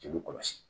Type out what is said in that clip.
Jeli kɔlɔsi